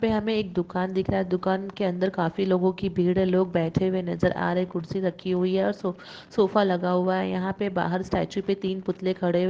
यहाँ पे हमें एक दुकान दिख रहा है| दुकान के अंदर काफी लोगों की भीड़ है लोग बैठे हुए नजर आ रहे है कुर्सी रखी हुई है और सोफा लगा हुआ है| यहां पे बाहर स्टेचू पे तीन पुतले खड़े हुए।